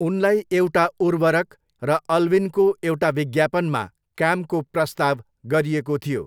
उनलाई एउटा उर्वरक र अल्विनको एउटा विज्ञापनमा कामको प्रस्ताव गरिएको थियो।